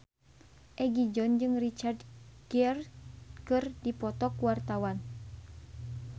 Egi John jeung Richard Gere keur dipoto ku wartawan